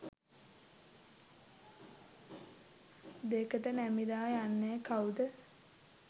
දෙකට නැමිලා යන්නේ කවුද?